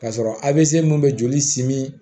K'a sɔrɔ avco mun bɛ joli simi